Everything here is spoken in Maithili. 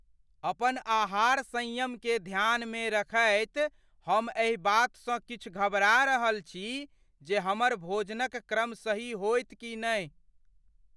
अपन आहार संयमकेँ ध्यानमे रखैत हम एहि बातसँ किछु घबरा रहल छी जे हमर भोजनक क्रम सही होयत कि नहि।